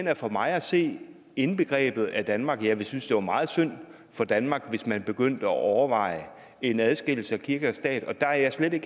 har for mig at se er indbegrebet af danmark og jeg ville synes det var meget synd for danmark hvis man begyndte at overveje en adskillelse af kirke og stat der er jeg slet